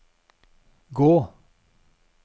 gå